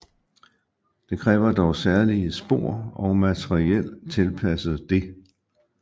Det kræver dog særlige spor og materiel tilpasset det